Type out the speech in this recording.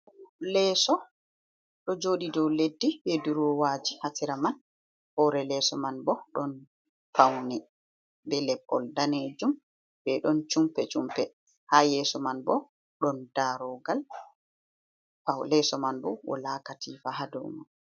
Leeso ɗo jooɗi dow leddi, be duroowaaji ha sera man, hoore leeso man bo ɗon fawne be leppol daneejum, be ɗon chumpe-chumpe, ha yeeso man bo ɗon daaroogal, leeso man bo walaa katiifa ha dow man.